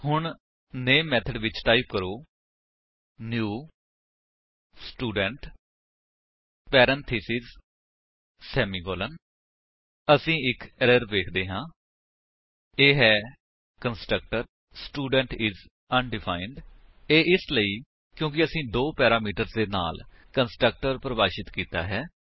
ਹੂਨ ਨਾਮੇ ਮੇਥਡ ਵਿੱਚ ਟਾਈਪ ਕਰੋ ਨਿਊ ਸਟੂਡੈਂਟ ਪੈਰੇਂਥੀਸਿਸ ਸੇਮਿਕੋਲੋਨ ਅਸੀ ਇੱਕ ਐਰਰ ਵੇਖਦੇ ਹਾਂ ਇਹ ਹੈ ਕੰਸਟ੍ਰਕਟਰ ਸਟੂਡੈਂਟ ਆਈਐਸ ਅਨਡਿਫਾਈਂਡ ਇਹ ਇਸ ਲਈ ਕਿਉਂਕਿ ਅਸੀਂ ਦੋ ਪੈਰਾਮੀਟਰਸ ਦੇ ਨਾਲ ਕੰਸਟਰਕਟਰ ਪਰਿਭਾਸ਼ਿਤ ਕੀਤਾ ਹੈ